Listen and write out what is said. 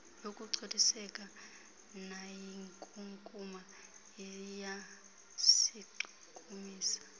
yokungcoliseka nayinkunkuma iyasichukumisa